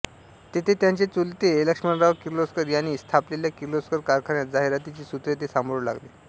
तेथे त्यांचे चुलते लक्ष्मणराव किर्लोस्कर यांनी स्थापलेल्या किर्लोस्कर कारखान्यात जाहिरातीची सूत्रे ते सांभाळू लागले